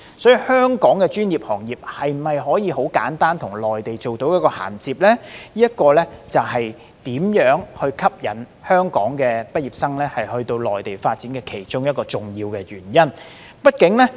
因此，香港的專業行業能否簡單地與內地銜接，會是能否吸引香港畢業生到內地發展的一項重要元素。